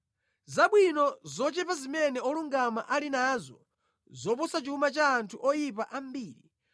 Zabwino zochepa zimene olungama ali nazo ziposa chuma cha anthu oyipa ambiri;